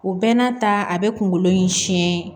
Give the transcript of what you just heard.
O bɛɛ n'a ta a bɛ kunkolo in siɲɛ